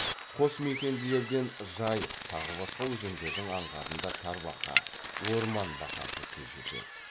қосмекенділерден жайық тағы басқа өзендердің аңғарында тарбақа орман бақасы кездеседі